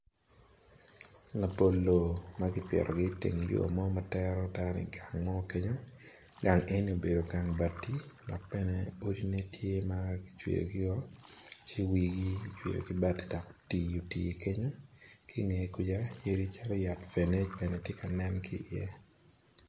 Labolo ma kipito i teng yo ma tero dano i gang mo dok ki i gang eni yadi calo fene bene tye ka nen.